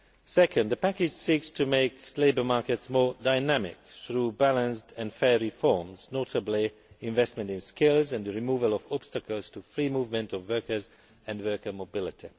Second, the package seeks to make labour markets more dynamic through balanced and fair reforms, notably investment in skills and the removal of obstacles to free movement of workers and worker mobility.